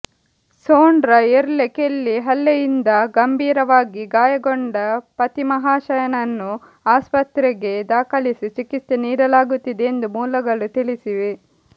Sondra Earle Kelly ಹಲ್ಲೆಯಿಂದ ಗಂಬೀರವಾಗಿ ಗಾಯಗೊಂಡ ಪತಿಮಹಾಶಯನನ್ನು ಆಸ್ಪತ್ರೆಗೆ ದಾಖಲಿಸಿ ಚಿಕಿತ್ಸೆ ನೀಡಲಾಗುತ್ತಿದೆ ಎಂದು ಮೂಲಗಳು ತಿಳಿಸಿವೆ